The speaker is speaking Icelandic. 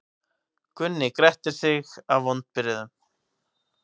Gunni gretti sig af vonbrigðum.